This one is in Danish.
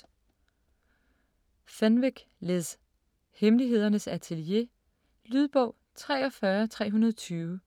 9. Fenwick, Liz: Hemmelighedernes atelier Lydbog 43320